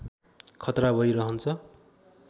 खतरा भई रहन्छ